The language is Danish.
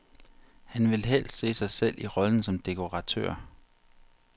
Han vil helst se sig selv i rollen som dekoratør.